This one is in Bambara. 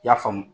I y'a faamu